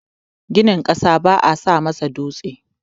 Ginin ƙasa baa sa masa dutse.